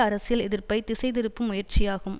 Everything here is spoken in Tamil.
அரசியல் எதிர்ப்பை திசை திருப்பும் முயற்சியாகும்